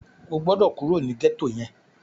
O gbọ́dọ̀ kúrò ní gẹ́tò yẹn!